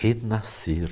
Renascer